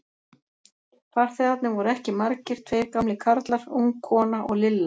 Farþegarnir voru ekki margir, tveir gamlir karlar, ung kona og Lilla.